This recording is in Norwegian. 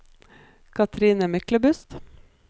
Katrine Myklebust